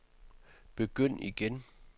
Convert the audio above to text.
begynd igen